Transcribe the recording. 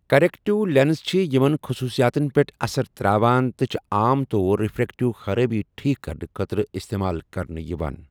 Corrective lens چھِ یِمن خٔصوٗصِیاتن پیٚٹھ اَثر ترٛاوان تہٕ چھِ عام طور رِفرٛیکٹِو خَرٲبی ٹھیک کَرنہٕ خٲطرٕ اِستعمال کرنہٕ یِوان۔